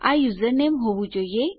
આ યુઝરનેમ હોવું જોઈએ